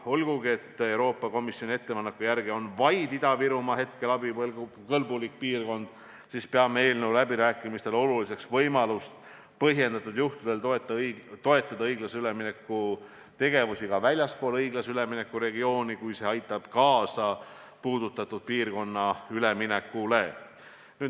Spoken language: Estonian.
Olgugi et Euroopa Komisjoni ettepaneku järgi on abikõlbulik piirkond hetkel vaid Ida-Virumaa, peame eelnõu läbirääkimistel oluliseks võimalust toetada põhjendatud juhtudel õiglase ülemineku tegevusi ka väljaspool õiglase ülemineku regiooni, kui see aitab kaasa puudutatud piirkonna üleminekule.